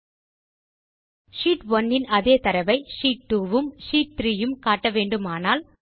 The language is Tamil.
இப்போது ஷீட் 1 இன் அதே தரவை ஷீட் 2 உம் ஷீட் 3 உம் காட்ட வேண்டுமானால்